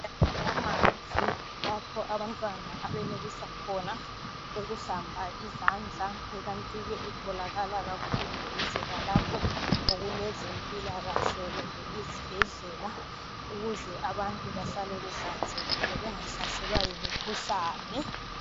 Amanzi lapho abantwana abenelisa khona ukuhlamba izandla ikanti ke itholakala duze lalapho okulezempilakahle kumbe izibhedlela ukuze abantu behlale behlanzekile bengahlaselwa yimikhuhlane.